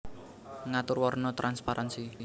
Ngatur warna transparansi